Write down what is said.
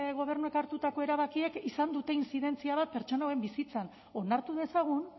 gobernuek hartutako erabakiek izan dute intzidentzia bat pertsona hauen bizitzan onartu dezagun